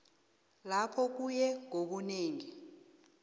lapho kuye ngobunengi